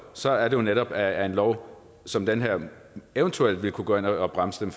så er det jo netop at en lov som den her eventuelt vil kunne gå ind og bremse